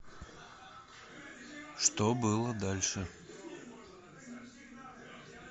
что было дальше